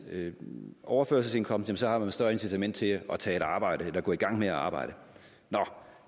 overførselsindkomst har man et større incitament til at tage et arbejde eller gå i gang med at arbejde nå